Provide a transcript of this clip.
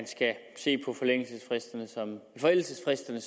skal se på forældelsesfristerne